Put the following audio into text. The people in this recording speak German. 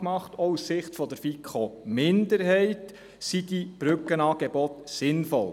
Auch aus Sicht der FiKo-Minderheit sind diese Brückenangebote sinnvoll.